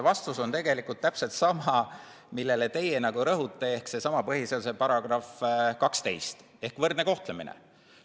Vastus on tegelikult täpselt sama, millele teie rõhute, ehk sellesama põhiseaduse § 12 võrdse kohtlemise kohta.